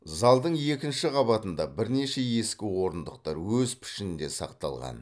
залдың екінші қабатында бірнеше ескі орындықтар өз пішінінде сақталған